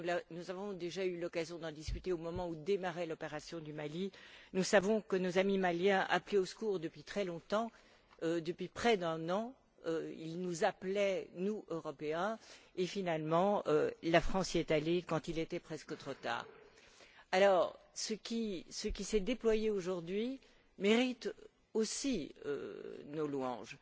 nous avons déjà eu l'occasion d'en discuter au moment où démarrait l'opération du Mali. Nous savons que nos amis maliens appelaient au secours depuis très longtemps. Depuis près d'un an, ils nous appelaient, nous, Européens, et finalement la France y est allée quand il était presque trop tard. Ce qui s'est déployé, aujourd'hui, mérite aussi nos louanges.